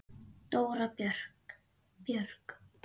Dóra Björg.